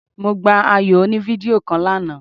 Mo gba ayò oní fídíò kan lánàá